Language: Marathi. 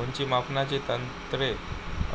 उंची मापनाची तंत्रे